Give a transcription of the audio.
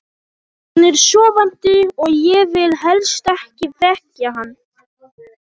Hann er sofandi og ég vil helst ekki vekja hann.